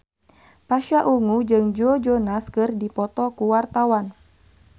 Pasha Ungu jeung Joe Jonas keur dipoto ku wartawan